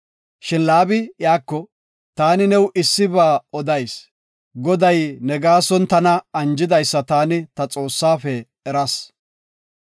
Shin Laabi iyako, “Taani new issiba odayis, Goday ne gaason tana anjidaysa taani ta Xoossafe eras.